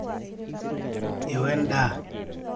eo endaa